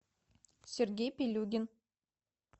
сергей пилюгин